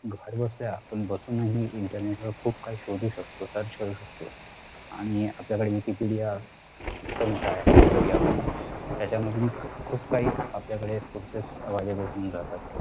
घरबसल्या आपण बसूनही internet वर खूप काही शोधू शकतो search करू शकतो आणि आपल्याकडे wikipedia इतका मोठा आहे कि आपण त्यांच्यामधून खूप काही आपल्याकडे sources available होऊन जातात